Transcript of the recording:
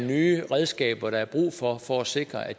nye redskaber der er brug for for at sikre at